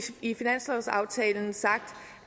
i finanslovsaftalen sagt